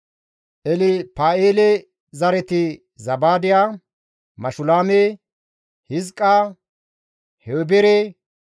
Elpa7eele zareti Zabaadiya, Mashulaame, Hizqa, Heebere,